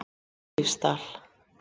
Eilífsdal